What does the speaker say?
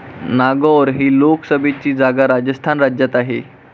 नागौर ही लोकसभेची जागा राजस्थान राज्यात आहे.